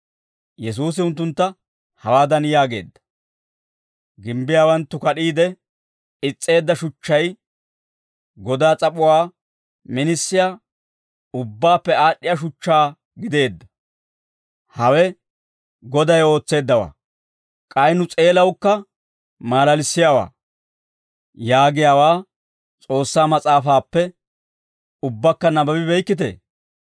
Yesuusi unttuntta hawaadan yaageedda; « ‹Gimbbiyaawanttu kad'iide is's'eedda shuchchay, godaa s'ap'uwaa minisiyaa, ubbaappe aad'd'iyaa shuchchaa gideedda. Hawe Goday ootseeddawaa; k'ay nu s'eelawukka maalalissiyaawaa› yaagiyaawaa S'oossaa mas'aafaappe ubbakka nabbabi beykkitee?